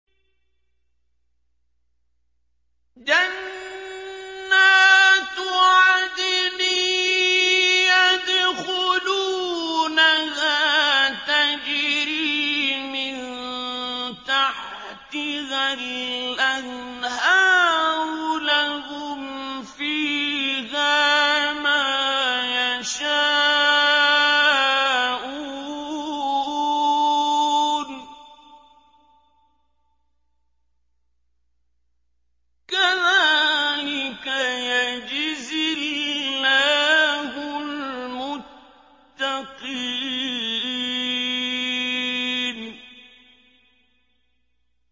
جَنَّاتُ عَدْنٍ يَدْخُلُونَهَا تَجْرِي مِن تَحْتِهَا الْأَنْهَارُ ۖ لَهُمْ فِيهَا مَا يَشَاءُونَ ۚ كَذَٰلِكَ يَجْزِي اللَّهُ الْمُتَّقِينَ